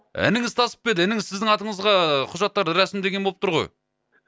ініңіз тасып па еді ініңіз сіздің атыңызға құжаттарды рәсімдеген боп тұр ғой